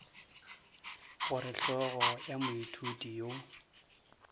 gore hlogo ya moithuti yo